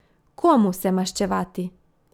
Komu se maščevati?